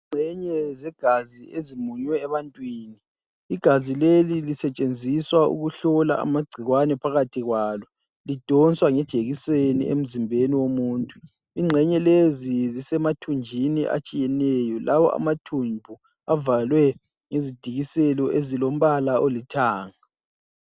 Ingxenye zegazi ezimunywe ebantwini, igazi leli lisetshenziswa ukuhlola amagcikwane phakathi kwalo, lidonswa ngejekiseni emzimbeni womuntu, ingxenye lezi zisemathunjini atshiyeneyo, lawa amathumbu avalwe ngezidikiselo ezilombala olithanga.